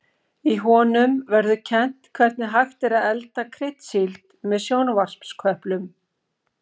Í honum verður kennt hvernig hægt er að elda kryddsíld með sjónvarpsköplum.